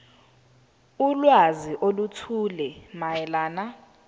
ulwazi oluthile mayelana